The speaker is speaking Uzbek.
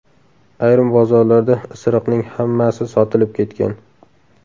Ayrim bozorlarda isiriqning hammasi sotilib ketgan.